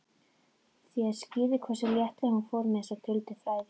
Það skýrði hversu léttilega hún fór með þessi duldu fræði.